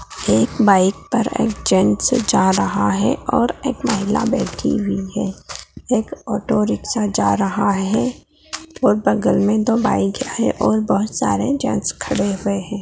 एक बाइक पर एक जेट्स जा रहा है और एक महिला बैठी हुई है एक ऑटोरिक्शा जा रहा है और बगल में दो बाइक है और बहुत सारे जेट्स खड़े हुए है।